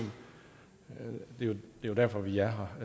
er jo derfor vi er